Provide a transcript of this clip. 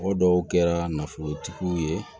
O dɔw kɛra nafolotigiw ye